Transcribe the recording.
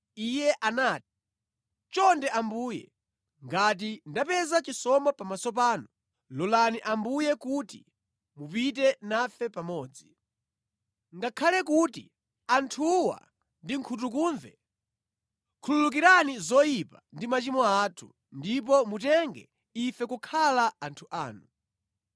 Iye anati, “Chonde Ambuye, ngati ndapeza chisomo pamaso panu, lolani Ambuye kuti mupite nafe pamodzi. Ngakhale kuti anthuwa ndi nkhutukumve, khululukirani zoyipa ndi machimo athu, ndipo mutenge ife kukhala anthu anu.”